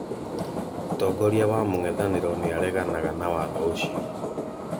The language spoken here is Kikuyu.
Mũtongoria wa mũng'ethanĩro nĩareganaga na watho ũcio